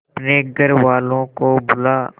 अपने घर वालों को बुला